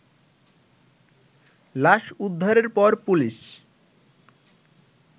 লাশ উদ্ধারের পর পুলিশ